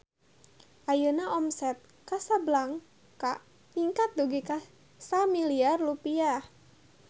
Ayeuna omset Casablanca ningkat dugi ka 1 miliar rupiah